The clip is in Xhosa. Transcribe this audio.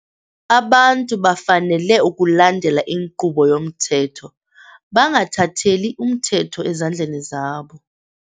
Abantu bafanele ukulandela inkqubo yomthetho bangathatheli umthetho ezandleni zabo.